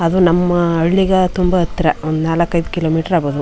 ಅದು ನಮ್ಮ ಹಳ್ಳಿಗೆ ತುಂಬಾ ಹತ್ರ ಒಂದ್ ನಾಲಕ್ ಐದು ಕಿಲೋಮೀಟರ್ ಆಗಬೋದು.